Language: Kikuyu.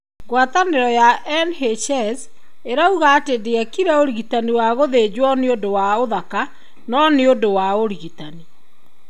Ngwatanĩro ya NHS ĩrauga atĩ ndiekire ũrigitani wa gũthenjwo nĩundũ wa uthaka, no nĩ ũndũ wa ũrigitani.